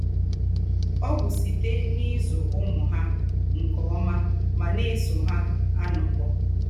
Ọ̀ bù sítè n’ízù úmù hà nke ómà mà ná-èsò hà ànókọ̀.